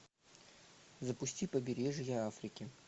запусти побережье африки